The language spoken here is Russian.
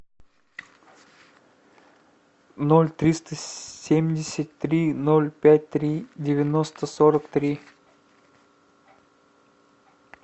ноль триста семьдесят три ноль пять три девяносто сорок три